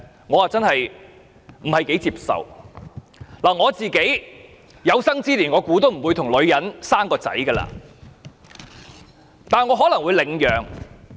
我相信自己有生之年都不會與女性生兒育女，但我可能會領養。